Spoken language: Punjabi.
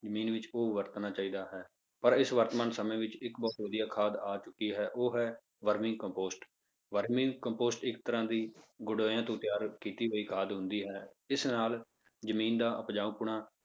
ਜ਼ਮੀਨ ਵਿੱਚ ਉਹ ਵਰਤਣਾ ਚਾਹੀਦਾ ਹੈ ਪਰ ਇਸ ਵਰਤਮਾਨ ਸਮੇਂ ਵਿੱਚ ਇੱਕ ਬਹੁਤ ਵਧੀਆ ਖਾਦ ਆ ਚੁੱਕੀ ਹੈ ਉਹ ਹੈ ਵਰਮੀ ਕੰਪੋਸਟ, ਵਰਮੀ ਕੰਪੋਸਟ ਇੱਕ ਤਰ੍ਹਾਂ ਦੀ ਗੰਡੋਇਆਂ ਤੋਂ ਤਿਆਰ ਕੀਤੀ ਹੋਈ ਖਾਦ ਹੁੰਦੀ ਹੈ, ਇਸ ਨਾਲ ਜ਼ਮੀਨ ਦਾ ਉਪਜਾਊਪੁਣ,